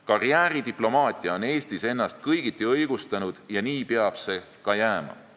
Karjääridiplomaatia on Eestis ennast kõigiti õigustanud ja nii peab see ka jääma.